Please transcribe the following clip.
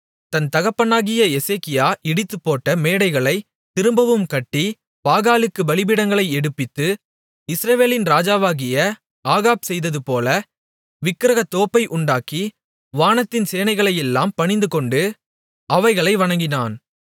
தன் தகப்பனாகிய எசேக்கியா இடித்துப்போட்ட மேடைகளைத் திரும்பவும் கட்டி பாகாலுக்குப் பலிபீடங்களை எடுப்பித்து இஸ்ரவேலின் ராஜாவாகிய ஆகாப் செய்ததுபோல விக்கிரகத்தோப்பை உண்டாக்கி வானத்தின் சேனைகளையெல்லாம் பணிந்துகொண்டு அவைகளை வணங்கினான்